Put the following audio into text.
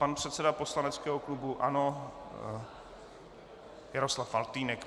Pan předseda poslaneckého klubu ANO Jaroslav Faltýnek.